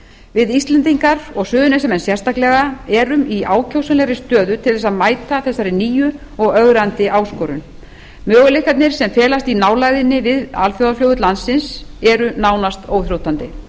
við íslendingar og suðurnesjamenn sérstaklega erum í ákjósanlegri stöðu til að mæta þessari nýju og ögrandi áskorun möguleikarnir sem felast í nálægðinni við alþjóðaflugvöll landsins eru nánast óþrjótandi